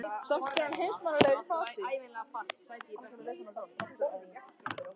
Samt er hann heimsmannslegur í fasi.